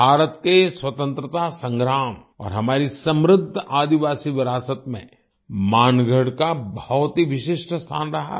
भारत के स्वतंत्रता संग्राम और हमारी समृद्ध आदिवासी विरासत में मानगढ़ का बहुत ही विशिष्ट स्थान रहा है